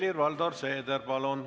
Helir-Valdor Seeder, palun!